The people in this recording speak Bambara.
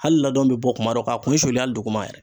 Hali ladɔn be bɔ kuma dɔ ka kun suli ali duguma yɛrɛ